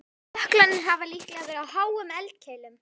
Jöklarnir hafa líklega verið á háum eldkeilum.